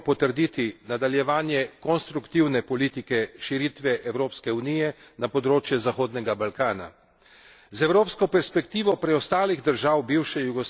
Z resolucijo, o kateri bomo razpravljali danes, želimo potrditi nadaljevanje konstruktivne politike širitve Evropske unije na področje Zahodnega Balkana.